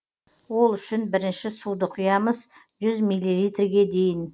ол үшін бірінші суды құямыз жүз миллилитрге дейін